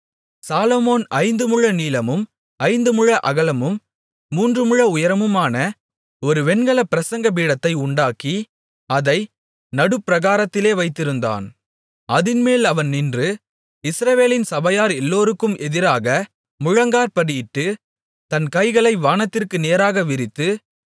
சாலொமோன் ஐந்து முழ நீளமும் ஐந்து முழ அகலமும் மூன்று முழ உயரமுமான ஒரு வெண்கலப் பிரசங்கபீடத்தை உண்டாக்கி அதை நடுப்பிராகாரத்திலே வைத்திருந்தான் அதின்மேல் அவன் நின்று இஸ்ரவேலின் சபையார் எல்லோருக்கும் எதிராக முழங்காற்படியிட்டு தன் கைகளை வானத்திற்கு நேராக விரித்து